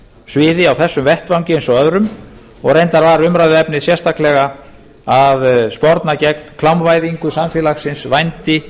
sviði á þessum vettvangi eins og öðrum og reyndar var umræðuefnið sérstaklega að sporna gegn klámvæðingu samfélagsins vændi